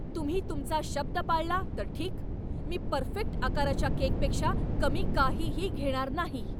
तुम्ही तुमचा शब्द पाळला तर ठीक. मी परफेक्ट आकाराच्या केकपेक्षा कमी काहीही घेणार नाही.